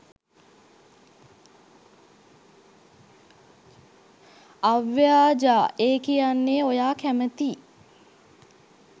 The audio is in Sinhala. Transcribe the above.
අව්‍යාජා ඒ කියන්නෙ ඔයා කැමැතියි